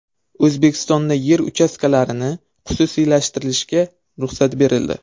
O‘zbekistonda yer uchastkalarini xususiylashtirishga ruxsat berildi.